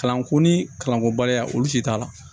Kalanko ni kalanko baliya olu si t'a la